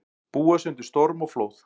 Búa sig undir storm og flóð